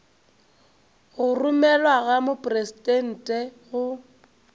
go romelwa go mopresidente go